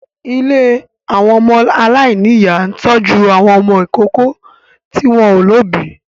Ilé àwọn ọmọ aláìníyà ń tọ́jú àwọn ọmọ ìkókó tí wọ́n ò lóbìí